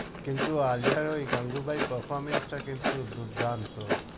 কিন্তু আলিয়ার ওই গাঙ্গুবাই performance টা কিন্তু দুর্দান্ত।